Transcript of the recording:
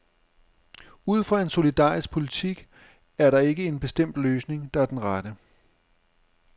Ud fra en solidarisk politik er der ikke en bestemt løsning, der er den rette.